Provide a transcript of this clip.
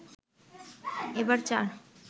এবার চার